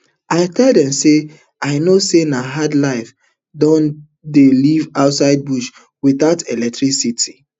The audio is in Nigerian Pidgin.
i tell dem say i know say na hard life dem dey live inside bush witout electricity